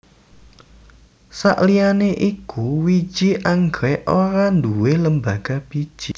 Sakliyané iku wiji anggrèk ora nduwé lembaga biji